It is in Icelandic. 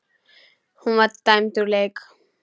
Hún var dæmd úr leik.